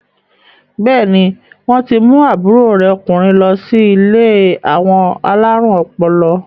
Bẹ́ẹ̀ni, wọ́n ti mú àbúrò rẹ̀ ọkùnrin lọ sí ilé àwọn alárùn ọpọlọ.